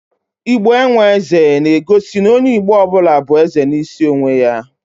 "Igbo enwe eze" na egosi n'onye Igbo ọbụla bụ eze n'isi onwe ya